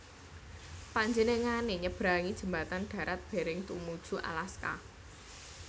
Panjenengané nyeberangi jembatan darat Bering tumuju Alaska